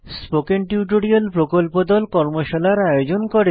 spoken tutorial প্রকল্প দল কর্মশালার আয়োজন করে